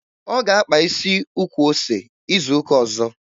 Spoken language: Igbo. Ọ ga-akpa isi ukwu ose izu ụka ọzọ.